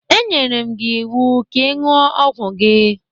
E nyere m gị iwu ka ị iṅuo ọgwụ gị!